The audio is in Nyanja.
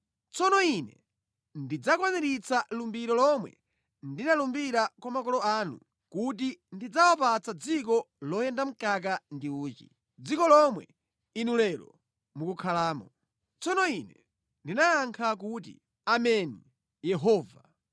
Tsono Ine ndidzakwaniritsa lumbiro lomwe ndinalumbira kwa makolo anu kuti ndidzawapatsa dziko loyenda mkaka ndi uchi,’ dziko lomwe inu lero mukukhalamo.” Tsono Ine ndinayankha kuti, “Ameni, Yehova.”